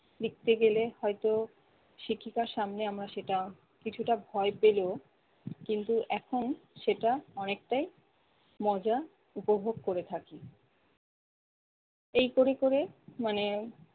লিখতে গেলে হয়তো শিক্ষিকার সামনে আমরা সেটা কিছুটা ভয় পেলেও কিন্তু এখন সেটা অনেকটাই মজা উপভোগ করে থাকি। এই ক'রে ক'রে মানে